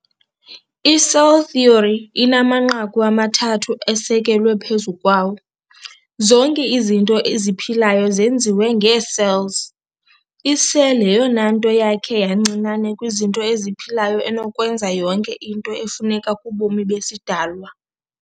I-cell theory inamanqaku amathathu esekelwe phezu kwawo- zonke izinto eziphilayo zenziwe ngee-cells. I-cell yeyonanto yakhe yancinane kwizinto eziphilayo enokwenza yonke into efuneka kubomi besidalwa.